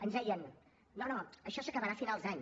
ens deien no no això s’acabarà a finals d’any